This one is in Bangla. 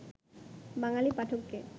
বাঙালি পাঠককে